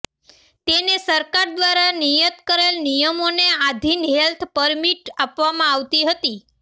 તેને સરકાર દ્વારા નિયત કરેલ નિયમોને આધીન હેલ્થ પરમીટ આપવામાં આવતી હતી